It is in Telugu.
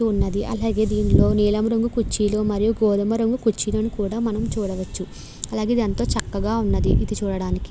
ఉన్నదీ అలాగే దీనిలో నీలం రంగు కుర్చీలు మరియి గోధుమ రంగు కుర్చీలు కూడా మనం చూడవచ్చు అలాగే ఇది ఎంతో చక్కగా ఉంది ఇది చూడడానికి.